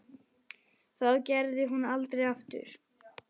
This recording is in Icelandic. Það gerði hún aldrei aftur.